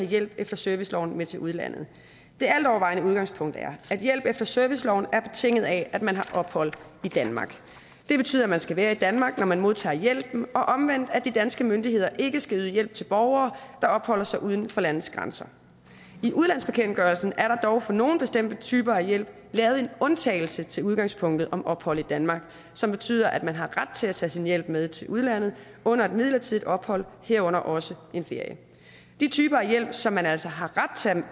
hjælp efter serviceloven med til udlandet det altovervejende udgangspunkt er at hjælp efter serviceloven er betinget af at man har ophold i danmark det betyder at man skal være i danmark når man modtager hjælpen og omvendt at de danske myndigheder ikke skal yde hjælp til borgere der opholder sig uden for landets grænser i udlandsbekendtgørelsen er der dog for nogle bestemte typer af hjælp lavet en undtagelse til udgangspunktet om ophold i danmark som betyder at man har ret til at tage sin hjælp med til udlandet under et midlertidigt ophold herunder også en ferie de typer af hjælp som man altså har ret til at